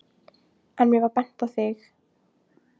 En mér var bent á þig.